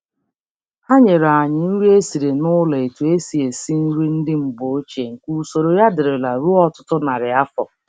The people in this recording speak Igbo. Ha nyere anyị nri e siri n'ụlọ etu e si esi nri ndị mgbe ochie nke usoro ya dirila ruo ọtụtụ narị afọ.